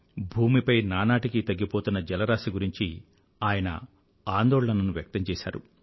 భూమిపై నానాటికీ తగ్గిపోతున్న జలరాశి గురించి ఆయన ఆందోళనను వ్యక్తం చేసారు